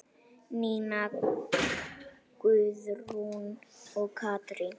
Nína Guðrún og Katrín.